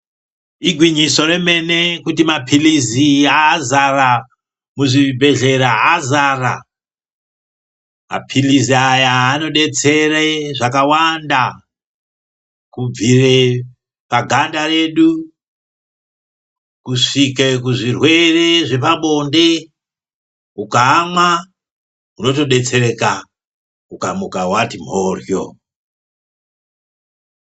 Igwinyiso remene kuti mapilizi azara muzvibhedhlera azara. Mapilizi aya anodetsere zvakawanda kubvire paganda redu kusvike kuzvirwere zvepabonde ukaamwa unotodetsereka ukamuka wati mphorywo.